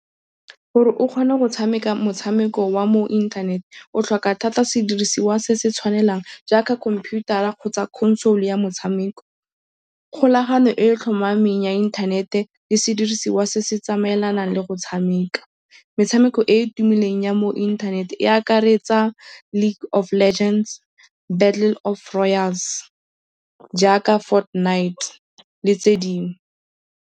Gore o kgone go tshameka motshameko wa mo internet, o tlhoka thata sedirisiwa se se tshwanelang jaaka computer-a kgotsa console ya motshameko, kgolagano e e tlhomameng ya inthanete le sedirisiwa se se tsamaelanang le go tshameka. Metshameko e e tumileng ya mo inthanete e akaretsa League of Legends, Battle of Royals, jaaka Fort Knight le tse dingwe.